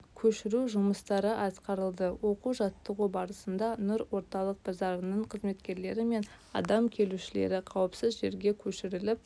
көшіру жұмыстары атқарылды оқу-жаттығу барысында нұр орталық базарының қызметкерлері мен адам келушілері қауіпсіз жерге көшіріліп